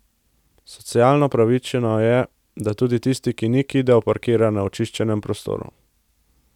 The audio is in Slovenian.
Socialno pravično je, da tudi tisti, ki ni kidal, parkira na očiščenem prostoru.